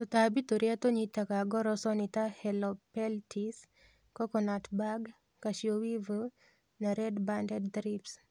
Tũtambi tũrĩa tũnyitaga ngoroco nĩ ta helopeltis, coconut bug, cashew weevil na red banded thrips.